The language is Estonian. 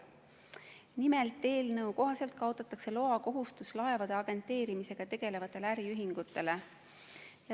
Nimelt, eelnõu kohaselt kaotatakse loakohustus laevade agenteerimisega tegelevatele äriühingutele.